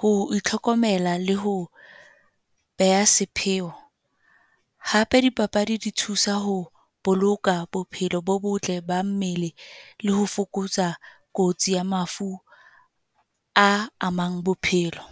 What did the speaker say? Ho itlhokomela le ho be ha sepheo. Hape di papadi di thusa ho boloka bophelo bo botle ba mmele, leho fokotsa kotsi ya mafu a amang bophelo.